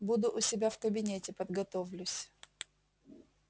буду у себя в кабинете подготовлюсь